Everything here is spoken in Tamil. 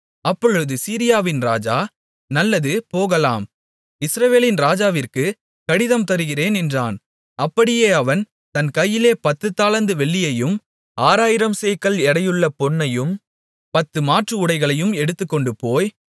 அப்பொழுது சீரியாவின் ராஜா நல்லது போகலாம் இஸ்ரவேலின் ராஜாவிற்கு கடிதம் தருகிறேன் என்றான் அப்படியே அவன் தன் கையிலே பத்துத்தாலந்து வெள்ளியையும் ஆறாயிரம் சேக்கல் எடையுள்ள பொன்னையும் பத்து மாற்றுஉடைகளையும் எடுத்துக்கொண்டுபோய்